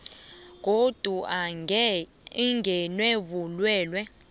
godu angenwe bulwelwe